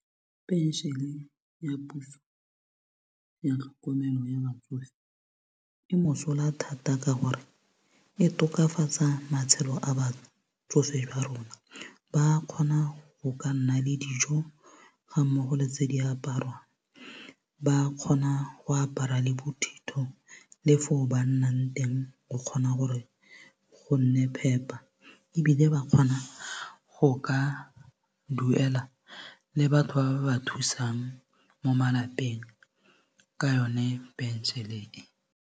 Pension-e ya puso ya tlhokomelo ya batsofe e mosola thata ka gore e tokafatsa matshelo a batsofe jwa rona ba kgona go ka nna le dijo ga mmogo le tse di aparwang ba kgona go apara le bothito le fo ba nnang teng go kgona gore go nne phepa ebile ba kgona go ka duela le batho ba ba ba thusang mo malapeng ka yone pension-e e.